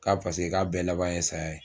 K'a paseke k'a bɛɛ laban ye saya ye.